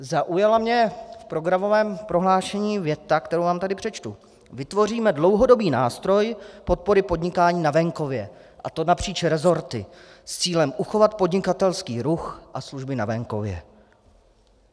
Zaujala mě v programovém prohlášení věta, kterou vám tady přečtu: Vytvoříme dlouhodobý nástroj podpory podnikání na venkově, a to napříč resorty s cílem uchovat podnikatelský ruch a služby na venkově.